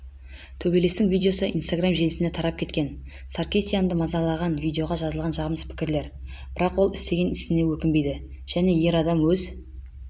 төбелестің видеосы инстаграм желісінде тарап кеткен саркисянды мазалаған видеоға жазылған жағымсыз пікірлер бірақ ол істеген ісіне өкінбейді және ер адам өз